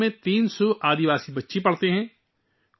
اس school میں 300 قبائلی بچے پڑھتے ہیں